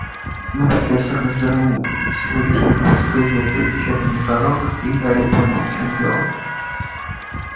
но профессор развернул сегодняшний выпуск газеты вечерний пророк и гарри понял в чём дело